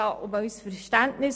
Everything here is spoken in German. Wir bitten Sie um Verständnis.